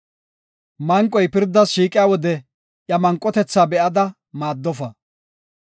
Manqoy pirdas shiiqiya wode iya manqotetha be7ada maaddofa.